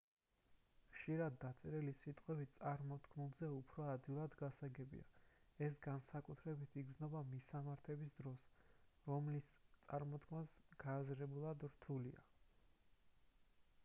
ხშირად დაწერილი სიტყვები წარმოთქმულზე უფრო ადვილად გასაგებია ეს განსაკუთრებით იგრძნობა მისამართების დროს რომლის წარმოთქმაც გააზრებულად რთულია